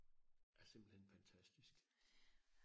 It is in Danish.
er simpelthen fantastisk